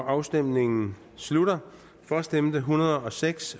afstemningen slutter for stemte en hundrede og seks